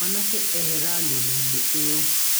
Mwanake ehera Nyoni-inĩ ĩyo.